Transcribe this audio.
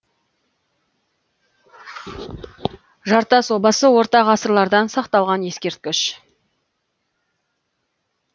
жартас обасы орта ғасырлардан сақталған ескерткіш